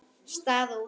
Staða og úrslit.